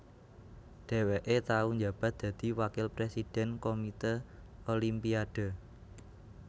Dhèwèké tau njabat dadi Wakil Présidèn Komité Olimpiade